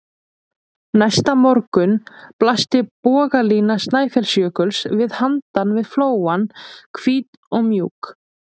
Næsta morgun blasti bogalína Snæfellsjökuls við handan við flóann, hvít og mjúk.